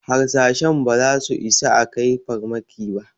Harsashen ba za su isa a kai farmakin ba